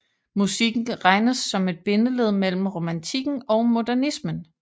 Musikken regnes som et bindeled mellem romantikken og modernismen